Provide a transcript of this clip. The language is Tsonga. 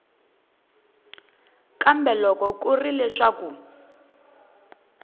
kambe loko ku ri leswaku